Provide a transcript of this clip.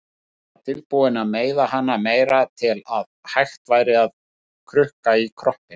Alltaf tilbúin að meiða hana meira til að hægt væri að krukka í kroppinn.